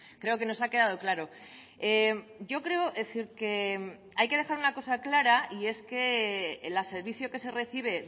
creo que nos ha quedado claro yo creo que hay que dejar una cosa clara y es que el servicio que se recibe